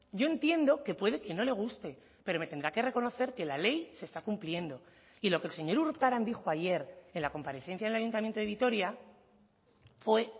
yo entiendo que puede que no le guste pero me tendrá que reconocer que la ley se está cumpliendo y lo que el señor urtaran dijo ayer en la comparecencia en el ayuntamiento de vitoria fue